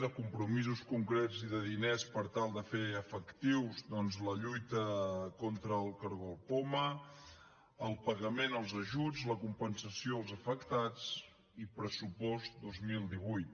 de compromisos concrets i de diners per tal de fer efectiva doncs la lluita contra el cargol poma el pagament als ajuts la compensació als afectats i pressupost dos mil divuit